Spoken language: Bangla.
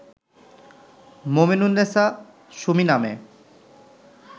মোমেনুন্নেছা সুমি নামে